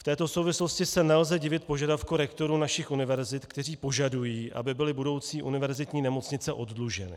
V této souvislosti se nelze divit požadavku rektorů našich univerzit, kteří požadují, aby byly budoucí univerzitní nemocnice oddluženy.